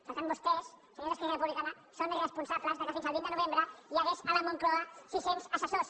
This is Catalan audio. per tant vostès senyors d’esquerra republicana són responsables que fins al vint de novembre hi hagués a la moncloa sis cents assessors